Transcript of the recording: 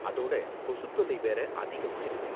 அதோட கொசுத் தொல்லை வேற அதிகமா இருக்கு.